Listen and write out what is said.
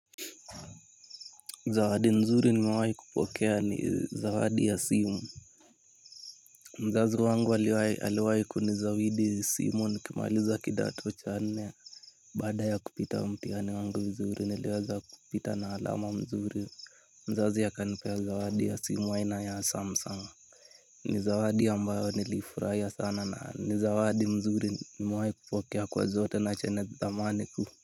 Zawadi nzuri nimewahi kupokea ni zawadi ya simu. Mzazi wangu aliniwahi kunizawidi simu nilipomaliza kidato cha nne. Baada ya kupita mtihani wangu vizuri. Niliweza kupita na alama mzuri. Mzazi akanipea zawadi ya simu ya aina ya Samsung. Ni zawadi ambayo nilifurahia sana, na ni zawadi nzuri niliyowahi kupokea kwa zote hizo zamani.